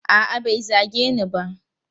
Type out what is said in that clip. A'a, bai zage ni ba.